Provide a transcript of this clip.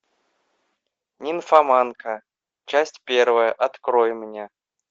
нимфоманка часть первая открой мне